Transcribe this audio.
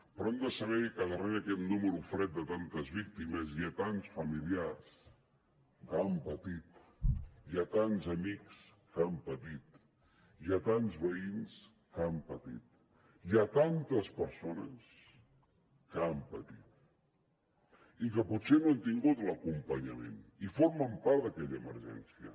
però hem de saber que darrere d’aquest número fred de tantes víctimes hi ha tants familiars que han patit hi ha tants amics que han patit hi ha tants veïns que han patit hi ha tantes persones que han patit i que potser no han tingut l’acompanyament i formen part d’aquella emergència